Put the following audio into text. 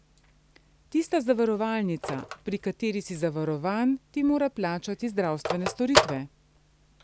Tista zavarovalnica, pri kateri si zavarovan, ti mora plačati zdravstvene storitve.